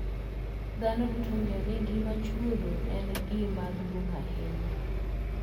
Dhano duto ong'eyo ni ngima chuodho en gima duong' ahinya.